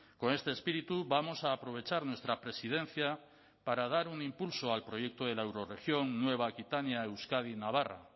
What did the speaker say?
con este espíritu vamos a aprovechar nuestra presidencia para dar un impulso al proyecto de la eurorregión nueva aquitania euskadi navarra